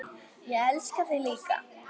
Ég elska þig líka.